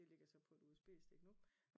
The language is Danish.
Det ligger så på et USB-stik nu